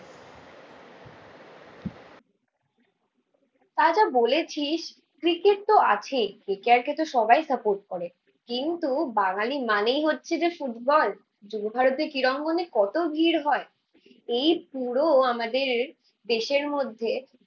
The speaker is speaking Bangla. তা যা বলেছিস। ক্রিকেটতো আছেই কে কে আর কেতো সবাই সাপোর্ট করে কিন্তু বাঙালি মানেই হচ্ছে যে ফুটবল। যুবভারতী ক্রীড়াঙ্গনে কত ভিড় হয়। এই পুরো আমাদের দেশের মধ্যে